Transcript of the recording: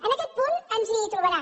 en aquest punt ens hi trobarà